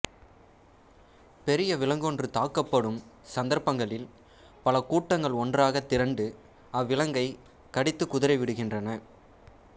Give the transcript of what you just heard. பெரிய விலங்கொன்று தாக்கப்படும் சந்தர்ப்பங்களில் பல கூட்டங்கள் ஒன்றாகத் திரண்டு அவ்விலங்கைக் கடித்துக் குதறிவிடுகின்றன